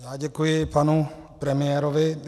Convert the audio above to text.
Já děkuji panu premiérovi.